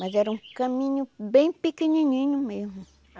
Mas era um caminho bem pequenininho mesmo.